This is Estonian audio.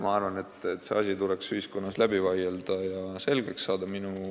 Ma arvan, et see asi tuleks ühiskonnas läbi vaielda ja selgeks saada.